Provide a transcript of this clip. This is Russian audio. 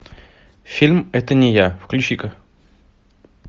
фильм это не я включи ка